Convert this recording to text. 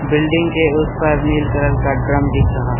Building के उस पार नील कलर का ड्रम दिख रहा है।